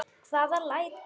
Hvaða læti?